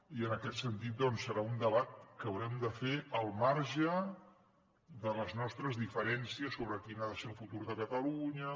i en aquest sentit doncs serà un debat que haurem de fer al marge de les nostres diferències sobre quin ha de ser el futur de catalunya